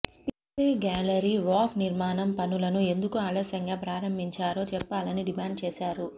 spillway gallery walk నిర్మాణం పనులను ఎందుకు ఆలస్యంగా ప్రారంభించారో చెప్పాలని డిమాండ్ చేశారు